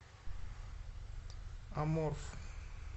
аморф